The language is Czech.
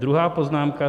Druhá poznámka.